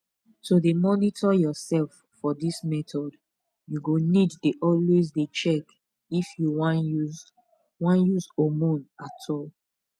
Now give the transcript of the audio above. to dey monitor yourself for this method you go need dey always dey check if you wan use wan use hormone at all